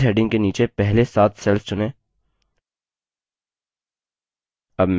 days heading के नीचे पहले सात cells चुनें